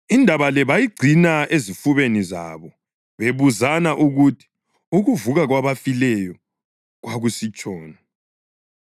Indaba le bayigcina ezifubeni zabo, bebuzana ukuthi, “ukuvuka kwabafileyo” kwakusitshoni.